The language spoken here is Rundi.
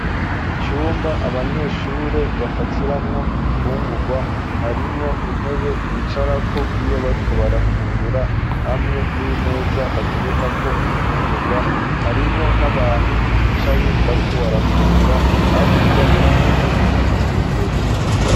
Icumba abanyeshuri bafatiramwo ibifungurwa ,harimwo intebe bicarako iyo bariko barafungura ,hamwe n'imeza baterekako imfungurwa ,harimwo n'abantu bicaye bariko barafungura, hakurya hateye igiti kirekire.